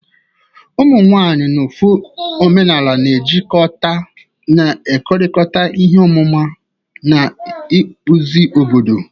Ụmụ nwanyị n'ofe omenala na-ejikọta, na-ekerịta ihe ọmụma na ịkpụzi obodo.